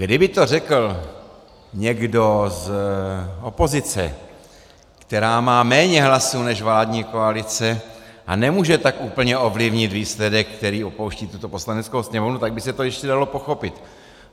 Kdyby to řekl někdo z opozice, která má méně hlasů než vládní koalice a nemůže tak úplně ovlivnit výsledek, který opouští tuto Poslaneckou sněmovnu, tak by se to ještě dalo pochopit.